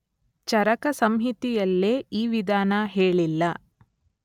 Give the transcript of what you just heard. ಚರಕಸಂಹಿತೆಯಲ್ಲೇ ಈ ವಿಧಾನ ಹೇಳಿಲ್ಲ.